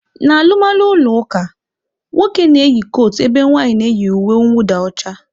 N'alụmalụ ụlọ ụka, nwoke na-eyi kotu ebe nwaanyị na-eyi uwe nwụda ọcha.